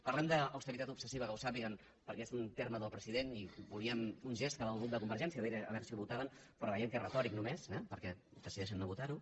parlem d’austeritat obsessiva que ho sàpiguen perquè és un terme del president i volíem un gest cap al grup de convergència a veure si votaven però veiem que és retòric només eh perquè decideixen no votar ho